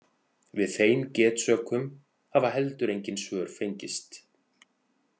Við þeim getsökum hafa heldur engin svör fengist.